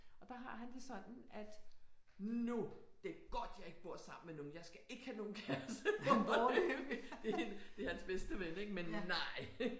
Og der har han det sådan at nu det er godt jeg ikke bor sammen med nogen jeg skal ikke have nogen kæreste lige foreløbigt det hans bedste ven ik men nej